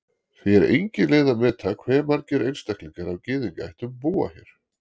því er engin leið að meta hve margir einstaklingar af gyðingaættum búa hér